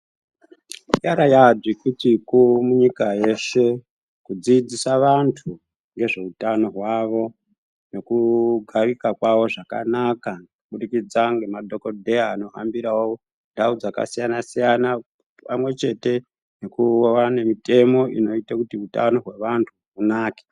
Yanga yava dzvikutsviku munyika yeshe kudzidzisa vantu ngezveutano hwavo nekugarika kwavo zvakanaka kubudikidza ngemadhokoteya anohambirawo ndau dzakasiyana siyana pamwechete nekuwanana nemutemo hwekuti utano hwevantu hunake.